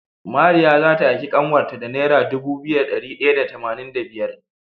Mariya zata aiki kanwar ta da naira Dubu biyu da dari daya da tamanin da biyar